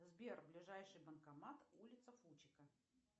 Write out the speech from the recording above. сбер ближайший банкомат улица фучика